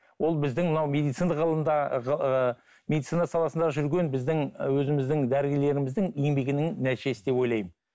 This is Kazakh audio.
ол біздің мынау медицина ғылымдағы ы медицина саласында жүрген біздің өзіміздің дәрігерлеріміздің еңбегінің нәтижесі деп ойлаймын